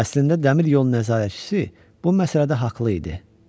Əslində dəmiryol nəzarətçisi bu məsələdə haqlı idi.